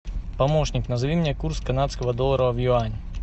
помощник назови мне курс канадского доллара в юани